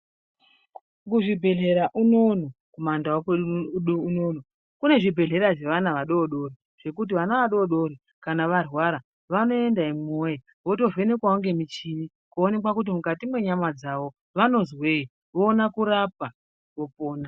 Kuzvibhedhlera unono kumandau kwedu unono kunezvibhedhlera zvevana vadodori zvekuti vana vadodori kana varwara vanoenda imwi woye votovhenekwawo ngemuchini kuonekwa kuti mukati mwenyama dzavo vanozwei voona kurapwa vopona.